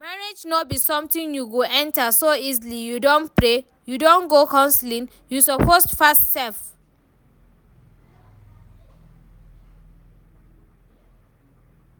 Marriage no be something you go enter so easily, you don pray? you don go counselling? you suppose fast sef